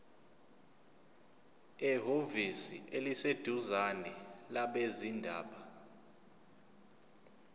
ehhovisi eliseduzane labezindaba